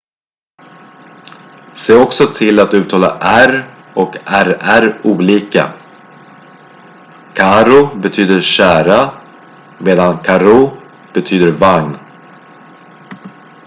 se också till att uttala r och rr olika caro betyder kära medan carro betyder vagn